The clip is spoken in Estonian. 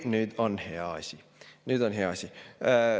Oi, nüüd on hea asi, nüüd on hea asi.